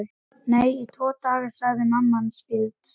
Nei, í tvo daga sagði mamma hans fýld.